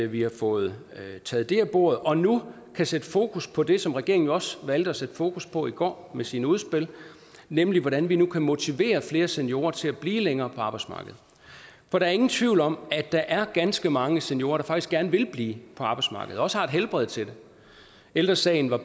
vi har fået det taget af bordet og nu kan sætte fokus på det som regeringen også valgte at sætte fokus på i går med sine udspil nemlig hvordan vi nu kan motivere flere seniorer til at blive længere på arbejdsmarkedet for der er ingen tvivl om at der er ganske mange seniorer der faktisk gerne vil blive på arbejdsmarkedet og også har helbred til det ældre sagen var